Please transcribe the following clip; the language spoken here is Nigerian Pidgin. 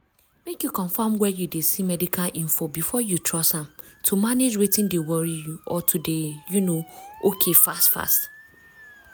mek you confam where you de see medical info before you trust am to manage wetin dey worry you or to dey um okay fast fast.